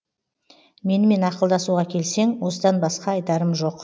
менімен ақылдасуға келсең осыдан басқа айтарым жоқ